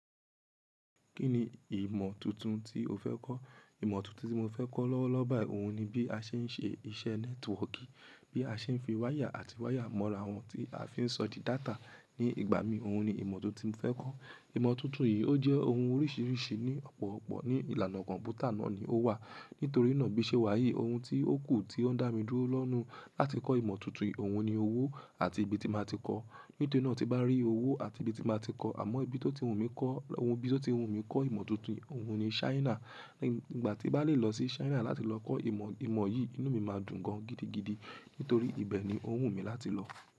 Kí ni ìmọ̀ tuntun tí o fẹ́ kọ́? Ìmọ̀ tuntun tí mo fẹ́ kọ́ lọ́wọ́lọ́wọ́ báyìí òun ni bí a ṣe ń ṣe iṣẹ́ networking. Bí a ṣe ń fi wáyà àti wáyà mọ́ra àwọn tí a fi ń sọ di data. Ní ìgbà mí, òun ni ìmọ̀ tó ti mo fẹ́ kọ́. Ìmọ̀ tuntun yìí ó jẹ́ ohun oríṣiríṣi ní ọ̀pọ̀ọ̀pọ̀ ní ìlànà kọ̀m̀pútà náà ni ó wà. Nítorí náà bí ṣé wàyí òun tí ó kù tí ó ń dá mi dúró lọ́na láti kọ́ ìmọ̀ tuntun yìí òun ni owó àti ibi tí màá ti kọ́. Nítorí náà tí mo ba rí owó àti ibi tí màá ti kọ́. Àmọ́ ibi tí ó ti wù mí kọ́, ohun bí ó ti wù mí kọ́ ìmọ̀ tuntun yìí òun ni China. Ìgbà tí bá lè lọ sí China láti lọ kọ́ ìmọ̀, ìmọ̀ yìí, inú mi máa dùn gan gidi gidi. Nítorí ibẹ̀ ni ó wù mí láti lọ.